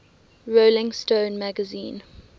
rolling stone magazine